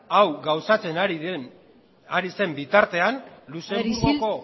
hau gauzatzen ari zen bitartean luxemburgoko